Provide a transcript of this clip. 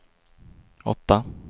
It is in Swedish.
åtta